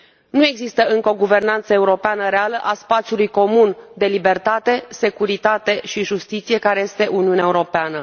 Nu există încă o guvernanță europeană reală a spațiului comun de libertate, securitate și justiție care este Uniunea Europeană.